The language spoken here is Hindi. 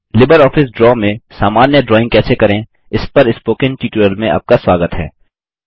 लिबर ऑफिस ड्रा में सामान्य ड्राइंग कैसे करें इस पर स्पोकन ट्यूटोरियल में आपका स्वागत है